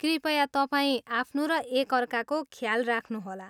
कृपया तपाईँ आफ्नो र एकअर्काको ख्याल राख्नुहोला।